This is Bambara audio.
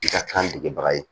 I ka kan degebaga ye